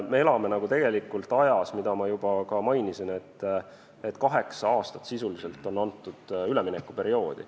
Me elame tegelikult sellises ajas, nagu ma juba ka mainisin, kus sisuliselt on kaheksa-aastane üleminekuperiood.